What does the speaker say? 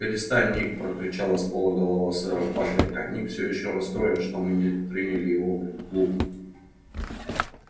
перестань ник прокричала с пола голова сэра патрика ник всё ещё расстроен что мы не приняли его в клуб